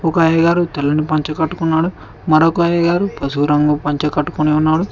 ఒక అయ్యగారు తెల్లటి పంచ కట్టుకున్నాడు మరొక అయ్యగారు పసుపు రంగు పంచ కట్టుకొని ఉన్నాడు.